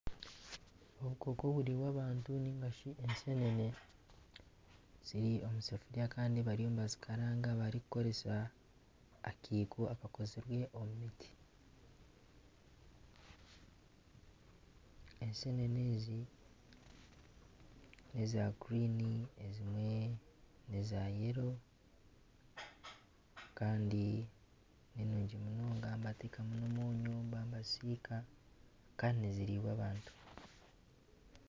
Obukooko oburikuriibwa abantu ningashi ensenene ziri omusefuria Kandi bariyo nibazikaranga barikukoresa akiiko akakozirwe omu miti ensenene ezi neza kinyatsi ezindi neza kyenju Kandi ninyingi munonga nibateekamu nana omwonyo baba nibazisiika Kandi niziriibwa abantu.